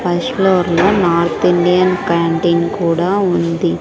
First floor లో north Indian canteen కూడా ఉంది.